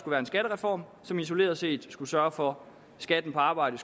være en skattereform som isoleret set skulle sørge for at skatten på arbejde